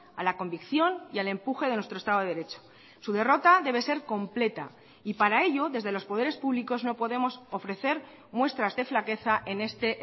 a la convicción y al empuje de nuestro estado de derecho su derrota debe ser completa y para ello desde los poderes públicos no podemos ofrecer muestras de flaqueza en este